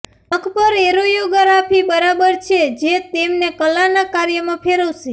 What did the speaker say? નખ પર એરોયોગ્રાફી બરાબર છે જે તેમને કલાનાં કાર્યમાં ફેરવશે